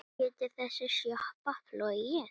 Getur þessi sjoppa flogið?